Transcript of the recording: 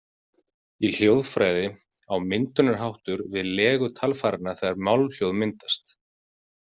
Í hljóðfræði á myndunarháttur við legu talfæranna þegar málhljóð myndast.